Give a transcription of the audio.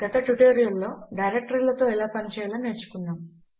గత ట్యుటోరియల్ లో డైరెక్టరీలతో ఎలా పని చేయాలో నేర్చుకున్నాము